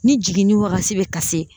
Ni jiginni wagati bɛ ka se